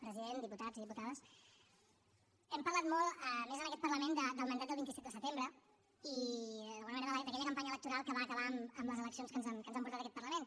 president diputats i diputades hem parlat molt a més en aquest parlament del mandat del vint set de setembre i d’alguna manera d’aquella campanya electoral que va acabar amb les eleccions que ens han portat a aquest parlament